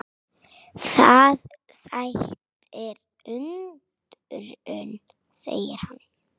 Það sætir undrum segir hann.